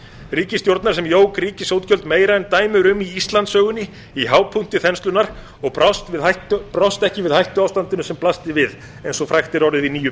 ríkisstjórnar sem jók ríkisútgjöld meira en dæmi eru um í íslandssögunni í hápunkti þenslunnar og brást ekki við hættuástandinu sem blasti við eins og frægt er orðið í níu